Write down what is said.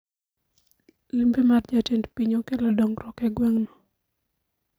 Limbe mar jatend piny okelo dongruok e gweng no